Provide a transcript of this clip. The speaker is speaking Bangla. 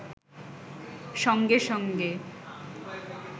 সঙ্গে-সঙ্গে